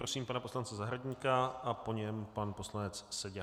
Prosím pana poslance Zahradníka a po něm pan poslanec Seďa.